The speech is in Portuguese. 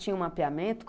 Tinha um mapeamento?